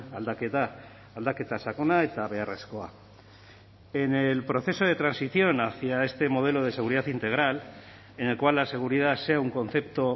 aldaketa aldaketa sakona eta beharrezkoa en el proceso de transición hacia este modelo de seguridad integral en el cual la seguridad sea un concepto